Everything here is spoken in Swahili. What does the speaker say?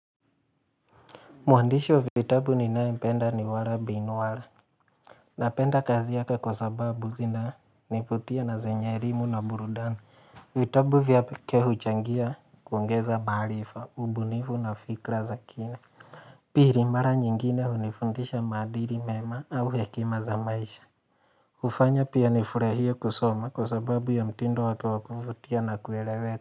Mwandishi wa vitabu ninayempenda ni walla bin walla. Napenda kazi yake kwa sababu zinanivutia na zenye elimu na burudani. Vitabu vyake huchangia kuongeza maarifa, ubunifu na fikra za kina. Pili, mara nyingine hunifundisha maadili mema au hekima za maisha. Hufanya pia nifurahie kusoma kwa sababu ya mtindo wake wa kuvutia na kuelewe.